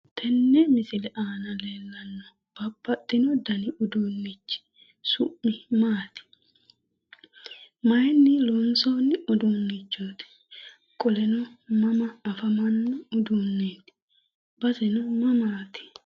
Tenne misile aana leelannohu babbaxino dani uduunichi su'm maati? Mayinni lonsooni uduunichooti? Qoleno mama afamano uduunichoot baseno mamaati?